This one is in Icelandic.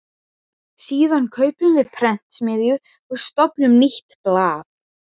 Síðan kaupum við prentsmiðju og stofnum nýtt blað.